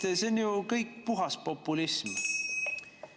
See on ju kõik puhas populism!